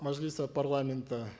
мажилиса парламента